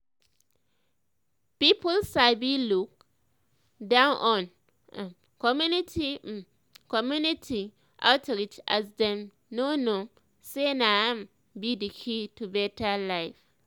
people sabi look down on um community um um community um outreach as dem no know um say na im be the key to better life